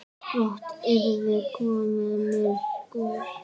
Brátt yrði komið myrkur.